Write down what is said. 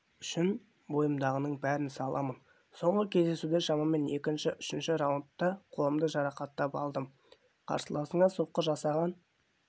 үшін бойымдағының бәрін саламын соңғы кездесуде шамамен екінші-үшінші раундта қолымды жарақаттап алдым қарсыласыңа соққы жасаған